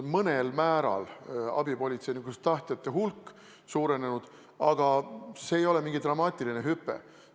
Mõnel määral on abipolitseinikuks tahtjate hulk suurenenud, aga see ei ole mingi dramaatiline hüpe.